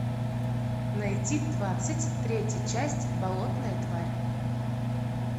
найти двадцать третья часть болотная тварь